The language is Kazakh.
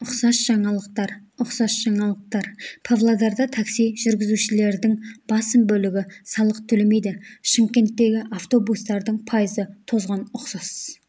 ұқсас жаңалықтар ұқсас жаңалықтар павлодарда такси жүргізушілердің басым бөлігі салық төлемейді шымкенттегі автобустардың пайызы тозған ұқсас